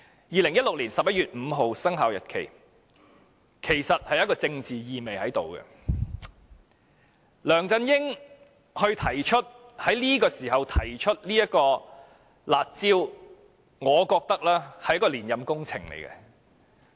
2016年11月5日的生效日期其實帶政治意味，梁振英當時提出"辣招"，我覺得是一項連任工程。